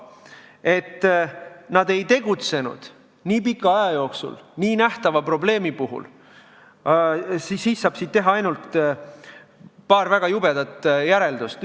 Sellest, et nad ei tegutsenud nii pika aja jooksul nii nähtava probleemi puhul, saab teha paar väga jubedat järeldust.